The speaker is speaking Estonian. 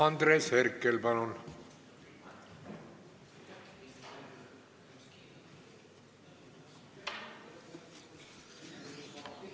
Andres Herkel, palun!